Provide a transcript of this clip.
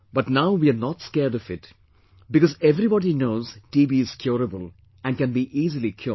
But now we are not scared of it because everybody knows TB is curable and can be easily cured